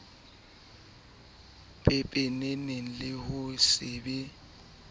pepeneng le ho se be